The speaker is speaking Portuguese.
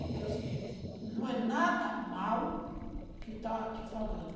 Porque é o seguinte, não é nada mal o que está te falando.